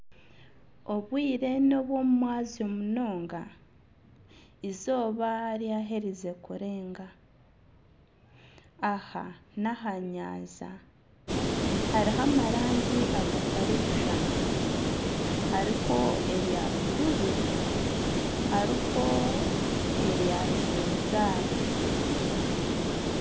Obwire nobw'omumwazyo munonga eizooba ryaherize kurenga aha n'aha nyanja hariho amarangi agatarikushushana hariho erya buruuru hariho erya kinzari.